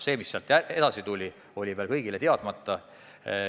Asjad, mis sealt edasi juhtuma hakkasid, olid veel kõigile teadmata.